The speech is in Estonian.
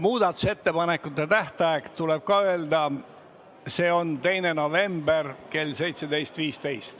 Muudatusettepanekute tähtaeg tuleb ka öelda, see on 2. november kell 17.15.